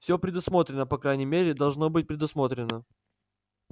все предусмотрено по крайней мере должно быть предусмотрено